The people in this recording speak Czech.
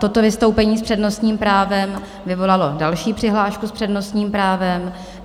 Toto vystoupení s přednostním právem vyvolalo další přihlášky s přednostním právem.